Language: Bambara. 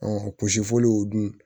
kusifu dun